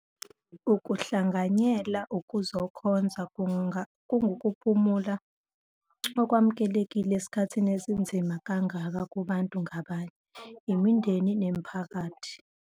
Ukuhlanganyela ukuzokhonza kungukuphumula okwamukelekile esikhathini esinzima kangaka kubantu ngabanye, imindeni kanye nemiphakathi.